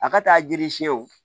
A ka taa jiri siɲɛ wo